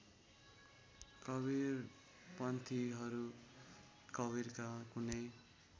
कवीरपन्थीहरू कवीरका कुनै